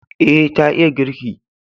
E, ta iya girki.